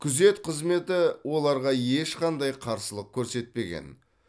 күзет қызметі оларға ешқандай қарсылық көрсетпеген